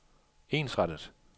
ensrettet